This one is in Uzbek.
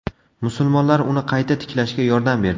Musulmonlar uni qayta tiklashga yordam berdi.